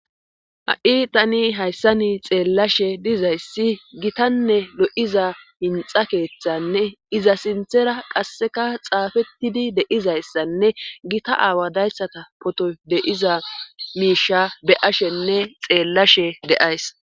Ha7i tani hayssani xeellashe dizayssi gitanne lo7iza hinxa keeththanne iza sinthera qasseka xaafettidi deizayssanne gita aawa dayssata poto deiza miisha be ashenne xeellashe deays.